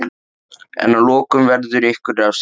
En að lokum verður ykkur refsað.